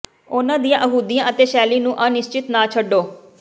ਉਨ੍ਹਾਂ ਦੀਆਂ ਅਹੁਦਿਆਂ ਅਤੇ ਸ਼ੈਲੀ ਨੂੰ ਅਨਿਸ਼ਚਿਤ ਨਾ ਛੱਡੋ